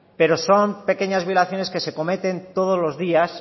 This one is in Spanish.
pero son pequeñas violaciones que se cometen todos los días